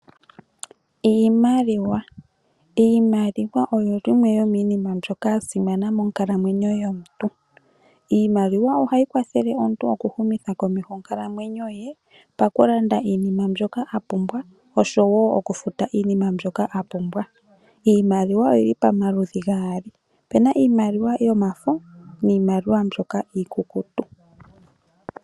Iimaliwa, iimaliwa oyo yimwe yomiinima mbyoka ya simana monkalamwenyo yomuntu. Iimaliwa ohayi kwathele omuntu okuhumitha komeho onkalamwenyo ye pakulanda iinima mbyoka a pumbwa osho wo okufuta iinima mbyoka a pumbwa. Iimaliwa oyili pamaludhi gaali, opuna iimaliwa yomafo niimaliwa mbyoka iikukutu.